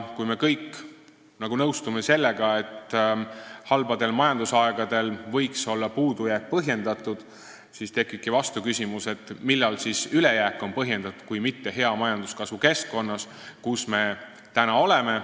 Kui me kõik nõustume sellega, et halbadel majandusaegadel võiks puudujääk olla põhjendatud, siis tekib vastuküsimus, millal on siis põhjendatud ülejääk kui mitte hea majanduskasvu keskkonnas, kus me nüüd oleme.